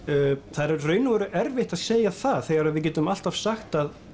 það er í raun og veru erfitt að segja það þegar við getum alltaf sagt að